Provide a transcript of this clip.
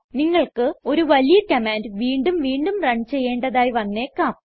നിങ്ങൾക്ക് ഒരു വലിയ കമാൻഡ് വീണ്ടും വീണ്ടും റൺ ചെയ്യേണ്ടതായി വന്നേക്കാം